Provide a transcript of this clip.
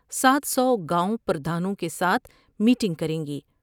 سات سو گاؤں پر دھانوں کے ساتھ میٹنگ کر میں گی ۔